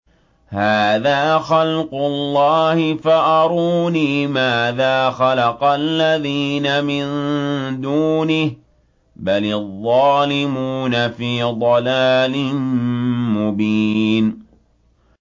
هَٰذَا خَلْقُ اللَّهِ فَأَرُونِي مَاذَا خَلَقَ الَّذِينَ مِن دُونِهِ ۚ بَلِ الظَّالِمُونَ فِي ضَلَالٍ مُّبِينٍ